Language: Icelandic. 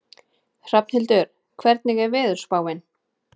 Hrafnhildur, hvernig er veðurspáin?